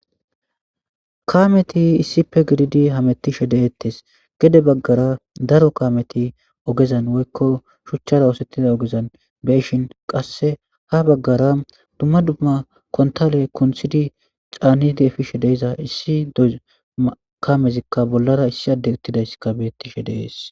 Kaameti issippe gididi hametishe de'etees; gede bagaara daro kaameti ogezan woykko shuchchara oosetida ogezan be'ishin qasse haa bagaara dumma dumma kuntale kunththidi canidi efishe de'iza issi kaamezika bollara issi addey uttidaysika beetishe de'es.